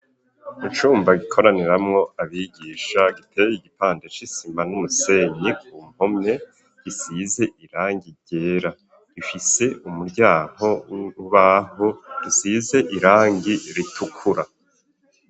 Icumba gikoraniramwo abigisha giteye igipanda c'isima n'umusenyi ku mpome gisize irangi ryera, gifise umuryango w'urubaho gisize irangi ritukura.